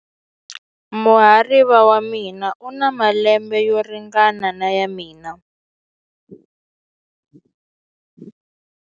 Muhariva wa mina u na malembe yo ringana na ya mina.